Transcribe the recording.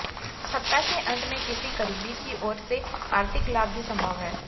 सप्ताह के अंत में किसी करीबी की ओर से आर्थिक लाभ भी संभव है